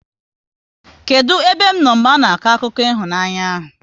Kedụ ebe m nọ mgbe ana akọ akụkọ ịhụnanya ahụ?